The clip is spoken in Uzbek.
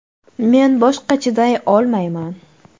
Men boshqa chiday olmayman.